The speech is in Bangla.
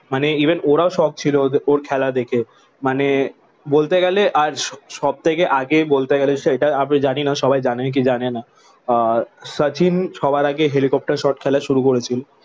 মানে ইভেন ওরাও শকড ছিল যে ওর খেলা দেখে। মানে বলতে গেলে আর সব সব থেকে আগে বলতে গেলে সেটা আপনি জানিনা সবাই জানে কি জানে না? আহ শচীন সবার আগে হেলিকপ্টার শট খেলা শুরু করেছিল।